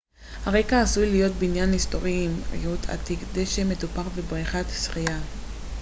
הרקע עשוי להיות בניין היסטורי עם ריהוט עתיק דשא מטופח ובריכת שחייה